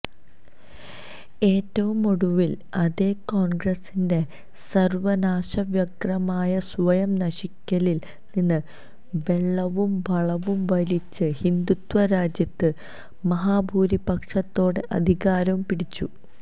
ഏറ്റവുമൊടുവില് അതേ കോണ്ഗ്രസിന്റെ സര്വനാശവ്യഗ്രമായ സ്വയം നശിക്കലില് നിന്ന് വെള്ളവും വളവും വലിച്ച് ഹിന്ദുത്വ രാജ്യത്ത് മഹാഭൂരിപക്ഷത്തോടെ അധികാരവും പിടിച്ചു